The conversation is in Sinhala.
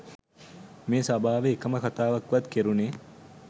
මේ සභාවේ එකම කතාවක්වත් කෙරුණේ